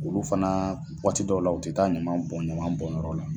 Olu fana waati dɔw la, u tɛ taa ɲaman bɔn ɲaman bɔnyɔrɔ la.